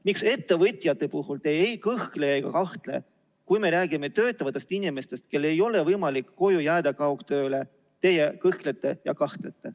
Miks te ettevõtjate puhul ei kõhkle ega kahtle, aga kui me räägime töötavatest inimestest, kellel ei ole võimalik koju jääda kaugtööle, siis te kõhklete ja kahtlete?